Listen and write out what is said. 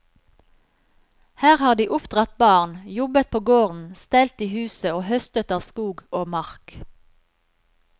Her har de oppdratt barn, jobbet på gården, stelt i huset og høstet av skog og mark.